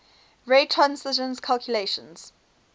ray transition calculations